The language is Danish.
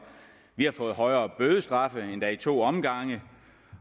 vi har fået højere bødestraffe endda i to omgange